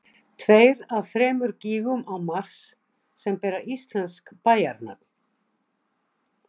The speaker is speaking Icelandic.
tveir af þremur gígum á mars sem bera íslensk bæjarnöfn